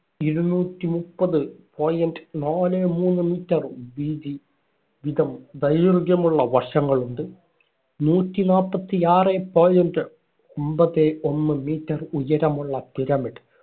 ഇരുനൂറ്റി മുപ്പത് point നാലേ മൂന്ന് meter വീതി വിതം ദൈർഘ്യമുള്ള വശങ്ങളുണ്ട്. നൂറ്റി നാപ്പത്തി ആറെ point അമ്പതേ ഒന്ന് meter ഉയരമുള്ള pyramid